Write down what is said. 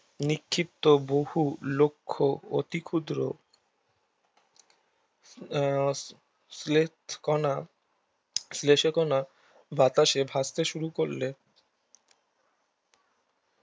নিক্ষিপ্ত বহু লক্ষ্য অতিক্ষুদ্র আহ কণা কণা বাতাসে ভাসতে শুরু করলে